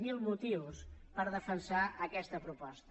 zero motius per defensar aquesta proposta